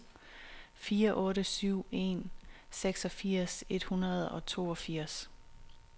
fire otte syv en seksogfirs et hundrede og toogfirs